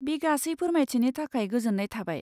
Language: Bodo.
बे गासै फोरमाइथिनि थाखाय गोजोन्नाय थाबाय।